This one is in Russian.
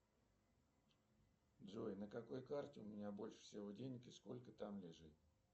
джой на какой карте у меня больше всего денег и сколько там лежит